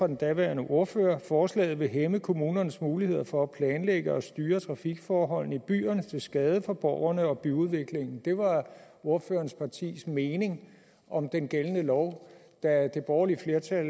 den daværende ordfører at forslaget ville hæmme kommunernes muligheder for at planlægge og styre trafikforholdene i byerne til skade for borgerne og byudviklingen det var ordførerens partis mening om den gældende lov da det borgerlige flertal